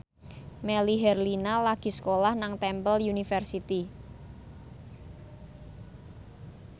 Melly Herlina lagi sekolah nang Temple University